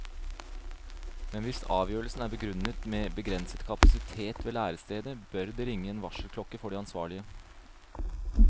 Men hvis avgjørelsen er begrunnet med begrenset kapasitet ved lærestedet, bør det ringe en varselklokke for de ansvarlige.